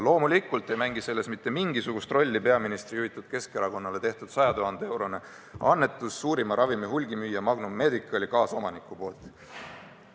Loomulikult ei mängi selles mitte mingisugust rolli peaministri juhitud Keskerakonnale tehtud 100 000 euro suurune annetus suurima ravimihulgimüüja Magnum Medicali kaasomaniku poolt.